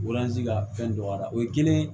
ka fɛn don a la o ye kelen ye